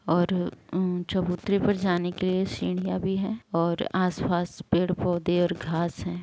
ओर चबुतर पे जाने के लिए सीढ़ियां भी है और आसपास पेड़ पौधे और घास है।